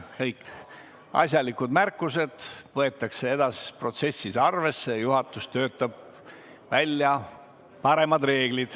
Kõiki asjalikke märkusi võetakse edasises protsessis arvesse, juhatus töötab välja paremad reeglid.